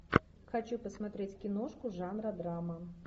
хочу посмотреть киношку жанра драма